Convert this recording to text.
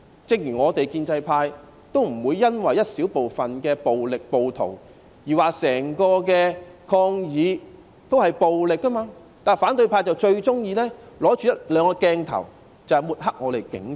正如我們建制派不會因為一小部分的暴力和暴徒而說整個抗議行動也是暴力的，但反對派卻最喜歡憑着一兩個鏡頭來抹黑我們的警察。